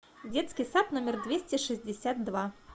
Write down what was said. детский сад номер двести шестьдесят два